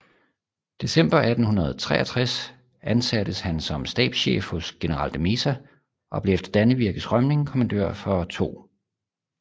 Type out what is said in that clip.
December 1863 ansattes han som stabschef hos general de Meza og blev efter Dannevirkes rømning kommandør for 2